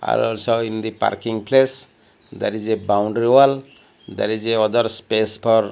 also in the parking place there is a boundary wall there is a other space for --